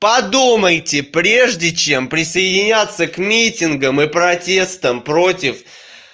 подумайте прежде чем присоединяться к митингам и протестам против